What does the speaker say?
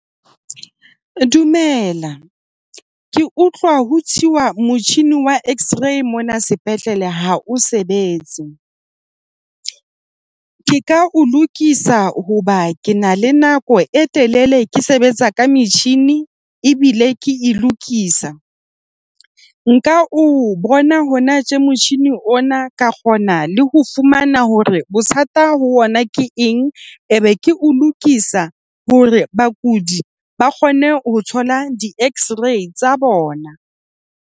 Dumela, ke utlwa ho tswa motjhini wa X-ray mona sepetlele ha o sebetse. Ke ka o lokisa hoba ke na le nako e telele ke sebetsa ka metjhini ebile ke e lokisa. Nka o bona hona tje motjhini ona ka kgona le ho fumana hore bothata ho ona ke eng. E be ke o lokisa hore bakudi ba kgone ho thola di X-ray tsa bona.